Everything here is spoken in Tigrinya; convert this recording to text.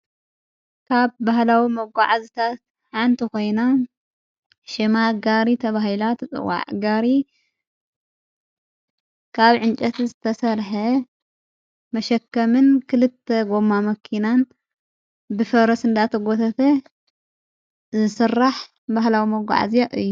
ካብ በህላዊ መጕዓዝታት ዓንቲ ኾይና ሽማ ጋሪ ተብሂላ ተጽዋዕ ጋሪ ካብ ዕንጨት ዘተሠርሐ መሸከምን ክልተ ጐማ መኪናን ብፈረስ ንዳተ ጐተተ ዝስራሕ ባህላዊ መጕዓ እዘያ እዩ::